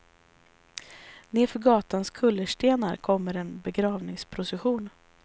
Nedför gatans kullerstenar kommer en begravningsprocession.